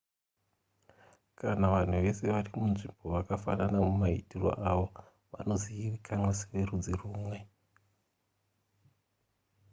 kana vanhu vese vari munzvimbo vakafanana mumaitiro avo vanozivikanwa severudzi rumwe